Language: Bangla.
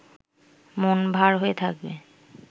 মন ভার হয়ে থাকবে